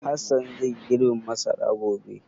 Hassan zai yi girbin masara gobe.